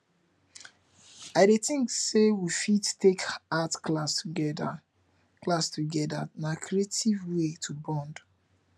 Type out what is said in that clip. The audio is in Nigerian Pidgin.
i dey think say we fit take art class together class together na creative way to bond